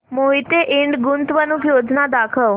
मोहिते इंड गुंतवणूक योजना दाखव